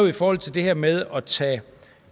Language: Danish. i forhold til det her med at tage